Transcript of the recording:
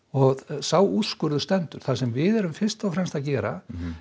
sá úrskurður stendur það sem við erum fyrst og fremst að gera